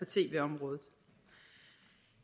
tv området